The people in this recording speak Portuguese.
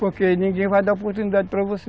Porque ninguém vai dar oportunidade para você.